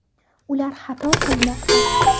Ular xato qilmoqda!